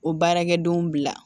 O baarakɛdenw bila